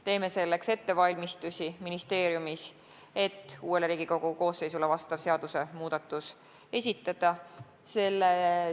Teeme ministeeriumis ettevalmistusi selleks, et uuele Riigikogu koosseisule vastav seadusmuudatus esitada.